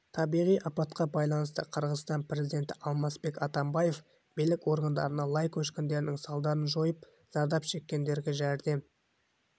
табиғи апатқа байланысты қырғызстан президенті алмазбек атамбаев билік органдарына лай көшкінінің салдарын жойып зардап шеккендерге жәрдем